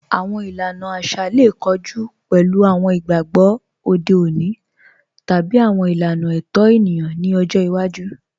Awọn ìlàna àṣà lè kọ̀jù pẹ̀lú awọn ìgbàgbọ̀ òde ọ̀nì tàbí awọn ìlàna ẹ̀tọ̀ ènìyàn nì ọ̀jọ́ ìwàjú.